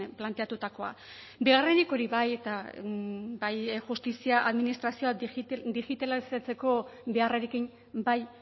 planteatutakoa bigarrenik hori bai eta bai justizia administrazioak digitalizatzeko beharrarekin bai